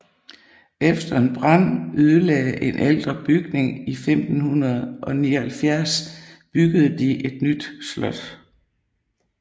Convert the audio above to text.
Efter en brand ødelagde en ældre bygning i 1579 byggede de et nyt slot